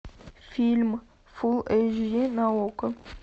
фильм фулл эйч ди на окко